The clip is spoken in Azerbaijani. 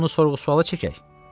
Bəlkə onu sorğu-suala çəkək?